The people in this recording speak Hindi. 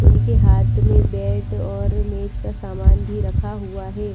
उनके हाथ में बैट और मैच का सामान भी रखा हुआ है।